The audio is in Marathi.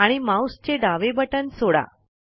आणि माउस चे डावे बटन सोडा